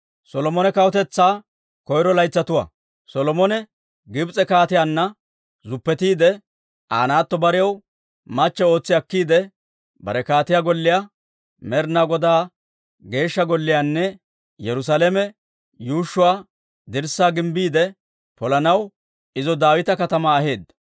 Solomone Gibs'e Kaatiyaanna zuppetiide, Aa naatto barew machche ootsi akkiide bare kaatiyaa golliyaa, Med'inaa Godaa Geeshsha Golliyaanne Yerusaalame yuushshuwaa dirssaa gimbbiide polanaw, izo Daawita Katamaa aheedda.